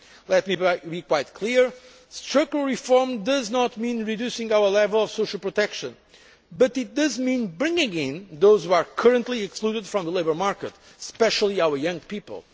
Let me be quite clear structural reform does not mean reducing our level of social protection, but it does mean bringing in those who are currently excluded from the labour market, especially our young people.